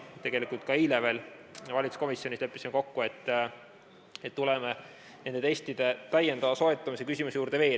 Tegelikult ka eile valitsuskomisjonis leppisime kokku, et tuleme veel nende testide täiendava soetamise küsimuse juurde.